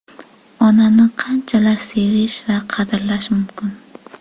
Onani qanchalar sevish va qadrlash mumkin?